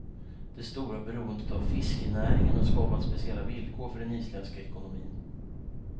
Det stora beroendet av fiskenäringen har skapat speciella villkor för den isländska ekonomin.